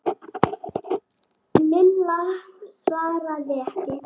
Lilla svaraði ekki.